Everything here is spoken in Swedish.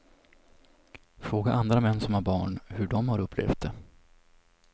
Fråga andra män som har barn hur de har upplevt det.